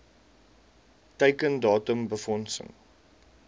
teiken datum befondsing